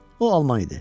O Alman idi.